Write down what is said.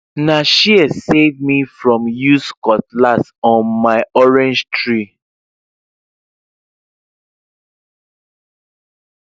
na shears save me from use cutlass on my orange tree